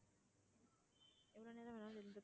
எவ்ளோ நேரம் வேணும்னாலும் இருந்துக்கலாமா,